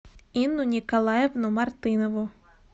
инну николаевну мартынову